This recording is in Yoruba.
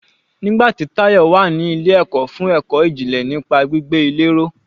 Nígbà tí Tayọ wà ní ilé ẹ̀kọ́ fún ẹ̀kọ́ ìjìnlẹ̀ nípa gbígbé ilé ró.